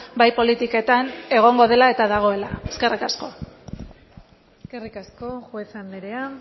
bai politiketan egongo dela eta dagoela eskerrik asko eskerrik asko juez andrea